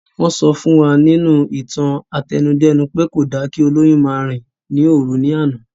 Wọ́n sọ fún wa nínú ìtàn àtẹnudẹ́nu pé kò dára kí olóyún máa rìn ní òru ní àná